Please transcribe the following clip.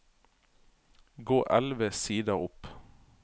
Gå elleve sider opp